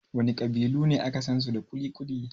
Wana ƙabilu ne aka sansu da kuli-kuli?